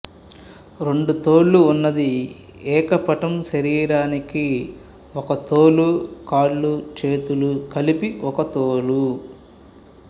రెండు తోళ్ళు ఉన్నది ఏకపటం శరీరానికి ఒక తోలు కాళ్ళు చేతులు కలిపి ఒక తోలు